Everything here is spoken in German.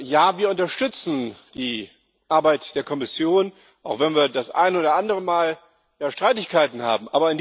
Ja, wir unterstützen die Arbeit der Kommission, auch wenn wir das eine oder andere Mal Streitigkeiten haben.